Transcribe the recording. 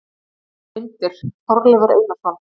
Myndir: Þorleifur Einarsson.